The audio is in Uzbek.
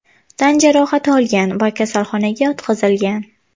tan jarohat olgan va kasalxonaga yotqizilgan.